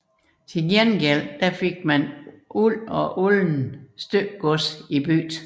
Til gengæld fik man uld og uldent stykgods i bytte